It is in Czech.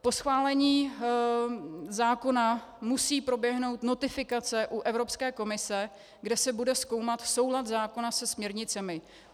Po schválení zákona musí proběhnout notifikace u Evropské komise, kde se bude zkoumat soulad zákona se směrnicemi.